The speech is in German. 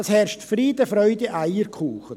Es herrscht Friede, Freude, Eierkuchen.